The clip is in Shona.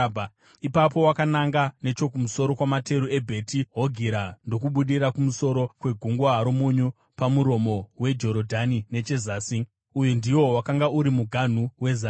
Ipapo wakananga nechokumusoro kwamateru eBheti Hogira ndokubudira kumusoro kweGungwa roMunyu, pamuromo weJorodhani nechezasi. Uyu ndiwo wakanga uri muganhu wezasi.